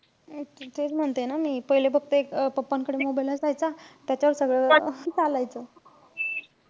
तेच म्हणते ना मी. पहिले फक्त एक अं pappa कडे mobile असायचा. त्याच्यावर सगळं अह चालायचं.